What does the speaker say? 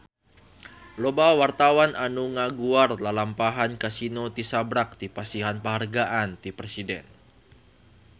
Loba wartawan anu ngaguar lalampahan Kasino tisaprak dipasihan panghargaan ti Presiden